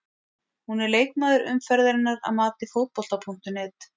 Hún er leikmaður umferðarinnar að mati Fótbolta.net.